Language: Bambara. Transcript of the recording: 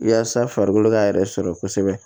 Yaasa farikolo ka yɛrɛ sɔrɔ kosɛbɛ